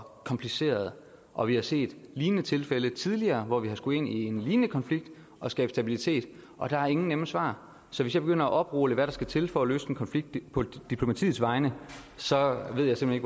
kompliceret og vi har set lignende tilfælde tidligere hvor vi har skullet ind i en lignende konflikt og skabe stabilitet og der er ingen nemme svar så hvis jeg begynder at oprulle hvad der skal til for at løse en konflikt på diplomatiets vegne så ved jeg simpelt